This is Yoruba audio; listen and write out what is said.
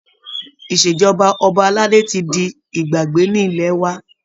Ìṣèjọba ọba aládé tí di ìgbàgbé ní ilẹ̀ wa